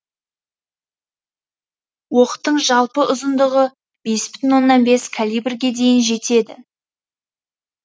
оқтың жалпы ұзындығы бес бүтін оннан бес калибрге дейін жетеді